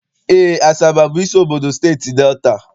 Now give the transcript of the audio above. Eé, Asaba bụ isi obodo Steeti Delta.